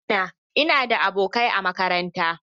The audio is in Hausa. I mana! Ina da abokai a makaranta.